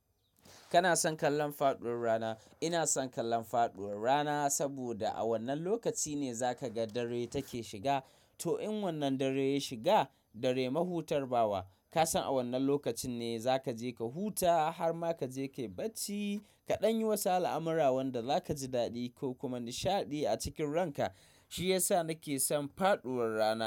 Kana son kallon faɗuwar rana? Ina son kallon faɗuwar rana saboda a wannan lokaci ne za ka ga dare take shiga. Toh in wannan dare ya shiga, dare mahutar bawa, ka san a wannan lokacin ne za ka je ka huta har ma ka je ka yi bacci. Kaɗan yi wasu al'amura wanda za ka ji daɗi ko kuma nishaɗi a cikin ranka. Shi ya sa nake son faɗuwar rana.